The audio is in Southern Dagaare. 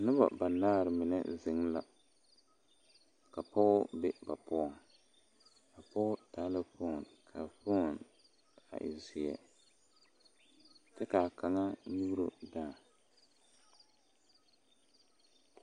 Noba banaare mine zeŋe la ka pɔge be ba poɔŋ a pɔge taa la fooni ka a fooni a e seɛ kyɛ ka a kaŋa nyuuro daa.